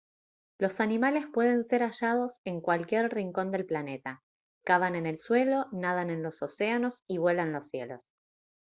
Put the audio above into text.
los animales pueden ser hallados en cualquier rincón del planeta cavan en el suelo nadan en los océanos y vuelan los cielos